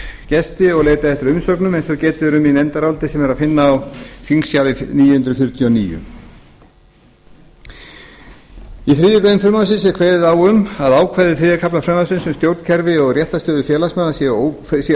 gesti og leitað eftir umsögnum eins og getið er um í nefndaráliti sem er að finna á þingskjali níu hundruð fjörutíu og níu í þriðju greinar frumvarpsins er kveðið á um að ákvæði þriðja kafla frumvarpsins um stjórnkerfi og réttarstöðu félagsmanna séu